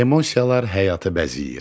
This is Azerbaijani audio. Emosiyalar həyatı bəzəyir.